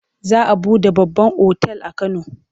Za a buɗe babban otal a Kano.